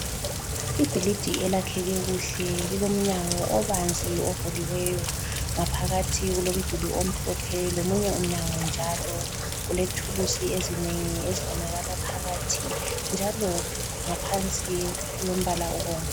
Ibhilidi elakheke kuhle lilomnyango obanzi ovuliweyo ngaphakathi ku lomduli omhlophe lomunye umnyango njalo, kulethulusi ezinengi ezibonakala phakathi njalo ngaphansi kulombala obomvu.